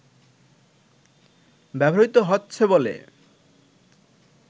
ব্যবহৃত হচ্ছে বলে